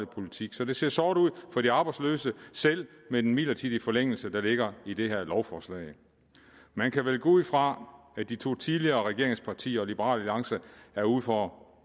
politik så det ser sort ud for de arbejdsløse selv med den midlertidige forlængelse der ligger i det her lovforslag man kan vel gå ud fra at de to tidligere regeringspartier og liberal alliance er uden for